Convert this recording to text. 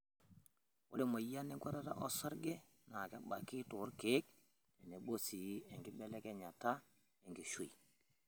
Ore emoyian enkuatata osarge naa kebaki toolkeek tenebo sii enkibelekenyata enkishui.